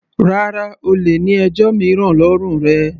Rárá, O lè ní ẹjọ́ mìíràn lọ́rùn rẹ.